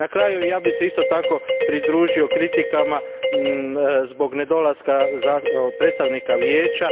Na kraju, ja bih se isto tako pridružio kritikama zbog nedolaska predstavnika Vijeća.